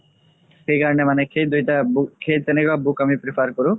সেইকাৰণে মানে সেই দুইটা সেই তেনেকুৱা book আমি prefer কৰো